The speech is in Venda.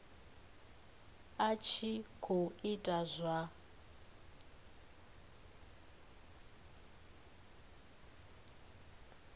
a tshi khou ita zwa